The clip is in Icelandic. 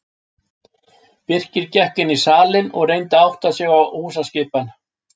Birkir gekk inn í salinn og reyndi að átta sig á húsaskipan.